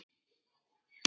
Þetta eru mjög þung spor.